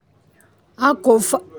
a kò fa.